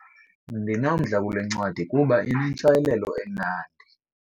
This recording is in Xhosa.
Ndinomdla kule ncwadi kuba inentshayelelo emnandi.